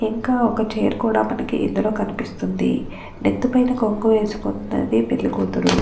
ఇంకా ఒక చైర్ కూడా మనకి ఇందులో కనిపిస్తుంది. నెత్తి మీద కొంగు వేసుకుంది ఆ పెళ్లికూతురు.